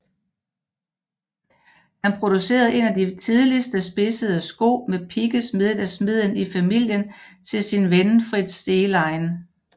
Han producerede en af de tidligste spidsede sko med pigge smedet af smeden i familien til sin ven Fritz Zehlein